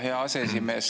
Hea aseesimees!